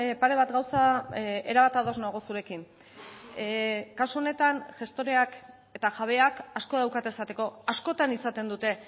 pare bat gauza erabat ados nago zurekin kasu honetan gestoreak eta jabeak asko daukate esateko askotan izaten dute